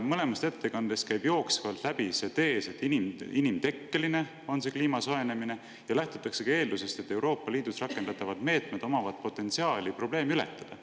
Mõlemast ettekandest käib jooksvalt läbi tees, et kliima soojenemine on inimtekkeline, ja lähtutakse eeldusest, et Euroopa Liidus rakendatavatel meetmetel on potentsiaali see probleem ületada.